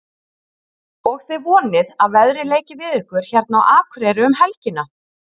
Og þið vonið að veðrið leiki við ykkur hérna á Akureyri um helgina?